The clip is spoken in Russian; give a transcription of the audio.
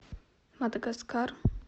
мадагаскар